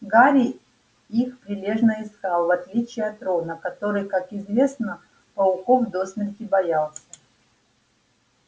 гарри их прилежно искал в отличие от рона который как известно пауков до смерти боялся